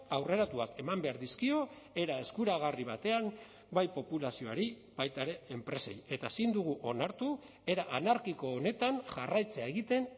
aurreratuak eman behar dizkio era eskuragarri batean bai populazioari baita ere enpreseei eta ezin dugu onartu era anarkiko honetan jarraitzea egiten